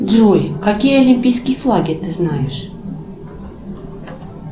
джой какие олимпийские флаги ты знаешь